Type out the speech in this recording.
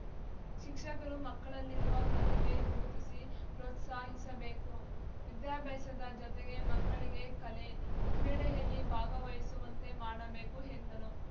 ಶಿಕ್ಷಕರು ಮಕ್ಕಳಲ್ಲಿರುವ ಪ್ರತಿಭೆ ಗುರುತಿಸಿ ಪ್ರೋತ್ಸಾಹಿಸಬೇಕು ವಿದ್ಯಾಭ್ಯಾಸದ ಜೊತೆಗೆ ಮಕ್ಕಳಿಗೆ ಕಲೆ ಕ್ರೀಡೆಯಲ್ಲಿ ಭಾಗವಹಿಸುವಂತೆ ಮಾಡಬೇಕು ಎಂದರು